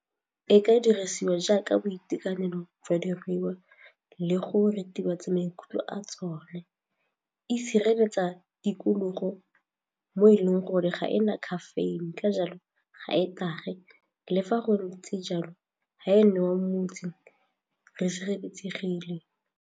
E ka dirisiwa jaaka boitekanelo jwa diruiwa le go ritibatsa maikutlo a tsone, e sireletsa tikologo mo e leng gore ga e na caffeine ka jalo ga e tlhage le fa go ntse jalo ga e newa motse re sireletsegile.